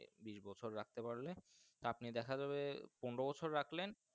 বিস্ বছর রাখতে পারলে আপনি দেখাযাবে পনেরো বছর রাখলেন।